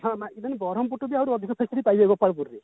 ମାନେ ବରମପୁର ଠି ବି ଅଧିକ